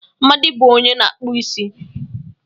Amadi bụ onye na-akpụ isi.